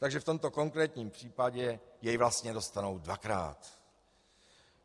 Takže v tomto konkrétním případě jej vlastně dostanou dvakrát.